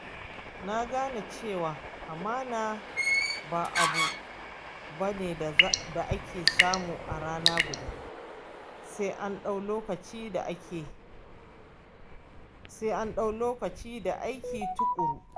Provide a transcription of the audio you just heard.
Na gane cewa amana ba abu ba ne da ake samu a rana guda, sai an ɗau lokaci da aiki tuƙuru.